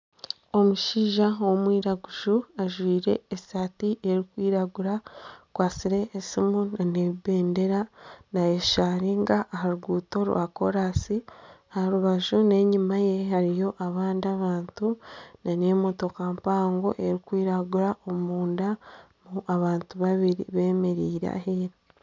Omushaija ow'omwiraguju ajwaire esaati erikwiragura akwatsire esimu nana ebendera nayesharinga aha ruguuto rwa koransi aha rubaju nana enyuma ye hariyo abandi abantu nana emotoka mpango erikwiragura omunda harimu abantu babiri bemereire aheeru